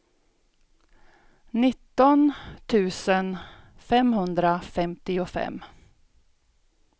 nitton tusen femhundrafemtiofem